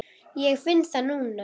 Ég finn það núna.